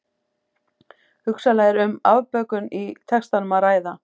Hugsanlega er um afbökun í textanum að ræða.